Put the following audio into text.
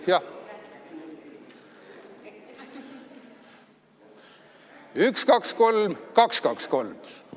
Alustame, üks-kaks-kolm, kaks-kaks-kolm!